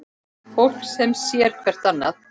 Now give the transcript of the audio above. Fólk sem sér hvert annað.